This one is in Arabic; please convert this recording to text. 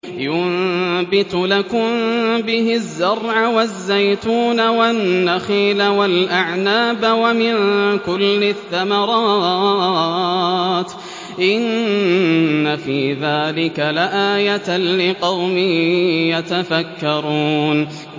يُنبِتُ لَكُم بِهِ الزَّرْعَ وَالزَّيْتُونَ وَالنَّخِيلَ وَالْأَعْنَابَ وَمِن كُلِّ الثَّمَرَاتِ ۗ إِنَّ فِي ذَٰلِكَ لَآيَةً لِّقَوْمٍ يَتَفَكَّرُونَ